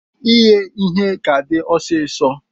Ighe ihe ka di ọsisọ.